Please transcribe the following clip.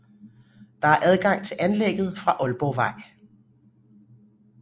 Der er adgang til anlægget fra Ålborgvej